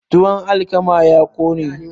tuwon alkama ya kone